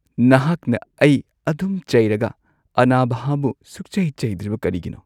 ꯅꯍꯥꯛꯅ ꯑꯩ ꯑꯗꯨꯝ ꯆꯩꯔꯒ ꯑꯅꯥꯘꯥꯕꯨ ꯁꯨꯡꯆꯩ ꯆꯩꯗ꯭ꯔꯤꯕ ꯀꯔꯤꯒꯤꯅꯣ?